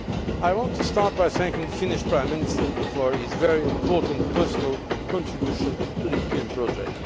I want to start by thanking the Finnish Prime Minister for his very important, personal contribution to the European project.